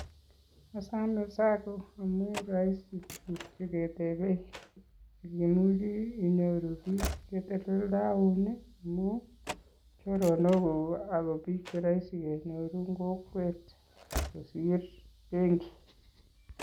Asome sacco amun roisi tuguk cheketebe, imuche inyoru biik cheteleldoun ii amun choronokuk ak kobik cheroisi kenyor en kokwet kosir benki.